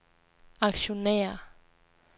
aktionærer